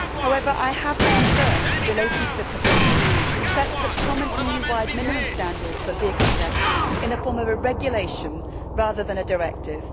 However, I have concerns relating to the proposal to set such common EU wide minimum standards for vehicle checks in the form of a regulation, rather than a directive.